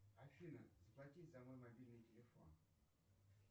афина заплатить за мой мобильный телефон